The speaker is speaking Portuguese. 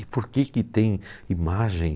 E por que que tem imagem?